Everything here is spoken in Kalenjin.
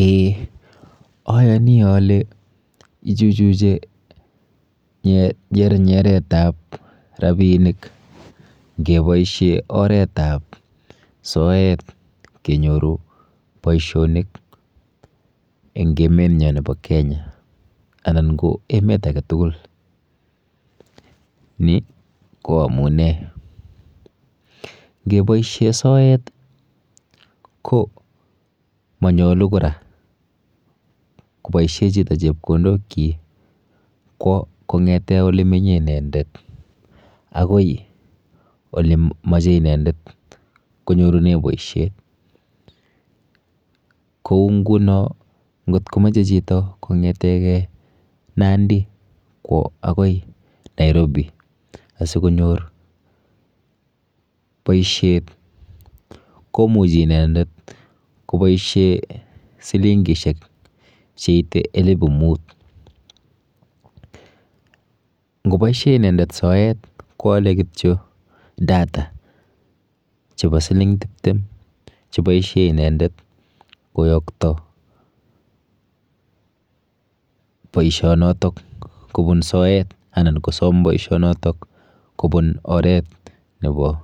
Eee ayani ale ichuchuche nyernyeret ap rapinik ngeboishen oret ap soet kenyoru boishonik en emet nyo nepo Kenya ana ko emet age tugul ni ko amune ngeboishe soet ko manyolu kora koboisie chito chepkondokchi kwo kong'ete ole menyei inendet akoi olemochei inendet konyorune boishet kou nguno ngotkomachei chito kongetegei Nandi kwo akoi Nairobi asikonyor boishet komuchei inendet koboisie silingishek cheitei elipu mut ngeboishe inendet soet koale kityo data chebo siling tiptem cheboishe inendet koyokto boishonotok kopun soet anan kosom boishonotok kopun oret nebo